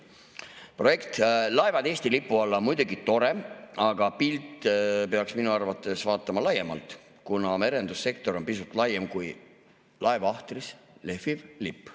Projekt "Laevad Eesti lipu alla" on muidugi tore, aga pilti peaks minu arvates vaatama laiemalt, kuna merendussektor on pisut laiem kui laeva ahtris lehviv lipp.